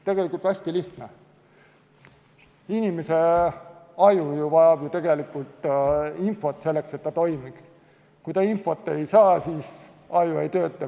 Tegelikult hästi lihtne: inimese aju vajab infot selleks, et ta toimiks, kui aju infot ei saa, siis ta ei tööta.